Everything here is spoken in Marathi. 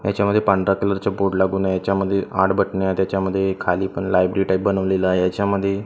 ह्याच्यामध्ये पांढरा कलरचा बोर्ड लागून आहे याच्यामध्ये आठ बटन आहेत ह्याच्यामध्ये खाली पण लायब्ररी टाईप बनवलेल आहे हेच्यामध्ये--